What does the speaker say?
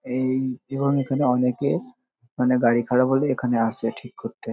এই এবং এখানে অনেকে মানে গাড়ি খারাপ হলে এখানে আসে ঠিক করতে।